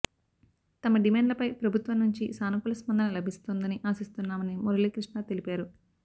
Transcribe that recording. తమ డిమాండ్లపై ప్రభుత్వం నుంచి సానుకూల స్పందన లభిస్తోందని ఆశిస్తున్నామని మురళీ కృష్ణ తెలిపారు